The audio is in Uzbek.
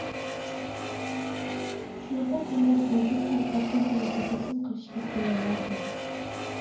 Shunaqa kunlar bo‘ldiki, oddiygina tabassum qilishga qiynalardim.